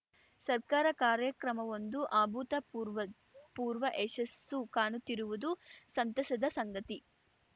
ಸರ್ಕಾರ ಕಾರ್ಯಕ್ರಮವೊಂದು ಅಭೂತಪೂರ್ವಪೂರ್ವ ಯಶಸ್ಸು ಕಾಣುತ್ತಿರುವುದು ಸಂತಸದ ಸಂಗತಿ